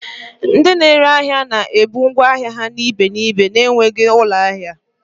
Ndị na-ere ahịa na-ebuga ngwa ahịa na ibe n'ibe na-enweghị ụlọ ahịa